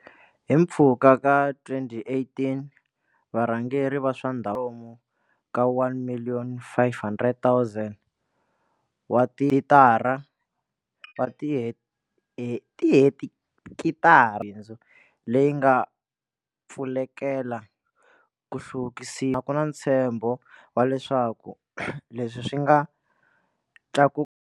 Hi mpfhuka ka 2018, varhangeri va swa ndhavuko kwalomu ka 1 500 000 wa tihekitara ta bindzu leyi nga pfulekela ku hluvukisiwa, ku na ntshembo wa leswaku leswi swi nga tlakuka.